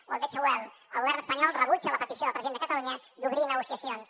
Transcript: o el deutsche welle el govern espanyol rebutja la petició del president de catalunya d’obrir negociacions